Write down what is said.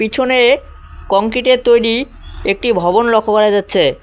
পিছনে কংক্রিট এর তৈরি একটি ভবন লক্ষ করা যাচ্ছে।